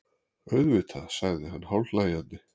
Auðvitað, sagði hann hálfhlæjandi.